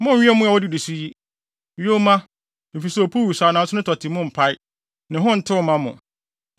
“ ‘Monnnwe mmoa a wodidi so yi. Yoma, efisɛ opuw wosaw nanso ne tɔte mu mpae; ne ho ntew mma mo.